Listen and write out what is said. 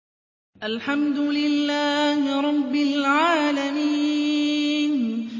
الْحَمْدُ لِلَّهِ رَبِّ الْعَالَمِينَ